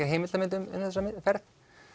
heimildarmynd um þessa ferð